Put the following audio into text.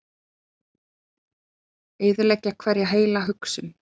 Eyðileggja hverja heila hugsun.